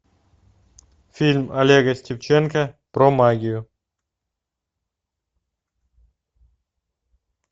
фильм олега степченко про магию